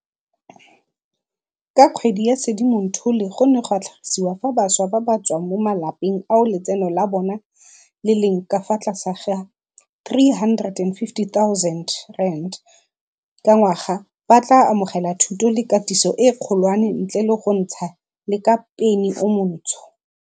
ka kgwedi ya Sedimonthole go ne ga tlhagisiwa fa bašwa ba ba tswang mo malapeng ao letseno la bo bona le leng ka fa tlase ga R350 000 ka ngwaga ba tla amogela thuto le katiso e kgolwane ntle le go ntsha le ka peni o montsho.